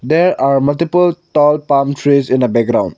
there are multiple tall palm trees in the background.